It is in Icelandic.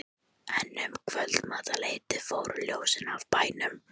En um kvöldmatarleytið fóru ljósin af bænum.